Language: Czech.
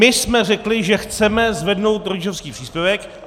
My jsme řekli, že chceme zvednout rodičovský příspěvek.